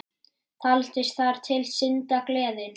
Taldist þar til syndar, gleðin.